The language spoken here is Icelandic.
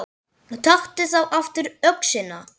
Taktu þá aftur öxina.